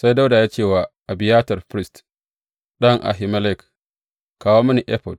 Sai Dawuda ya ce wa Abiyatar firist, ɗan Ahimelek, Kawo mini efod.